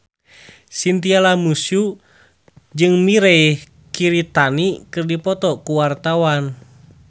Chintya Lamusu jeung Mirei Kiritani keur dipoto ku wartawan